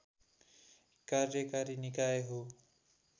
कार्यकारी निकाय हो